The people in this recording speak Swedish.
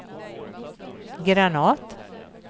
Granath